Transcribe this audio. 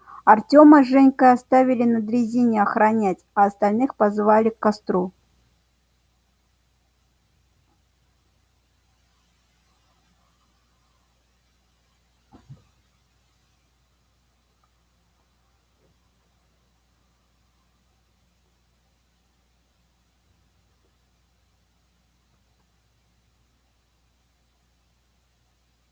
артёма с женькой оставили на дрезине охранять а остальных позвали к костру